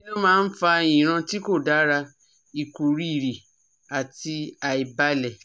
Kí ló máa ń fa ìran ti ko dara, ikuriri àti àìbalẹ̀?